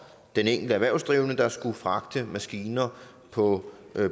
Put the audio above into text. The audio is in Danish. den enkelte erhvervsdrivende der skulle fragte maskiner på